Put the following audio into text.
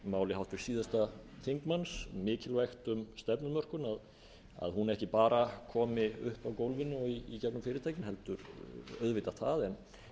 máli háttvirts síðasta þingmanns mikilvægt um stefnumörkun að hún ekki bara komi upp af gólfinu og í gegnum fyrirtækin auðvitað það en